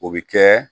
O bɛ kɛ